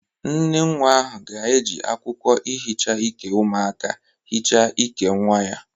Nnenwa ahụ ga-eji akwụkwọ ihicha ike umụaka hicha ike nwa ya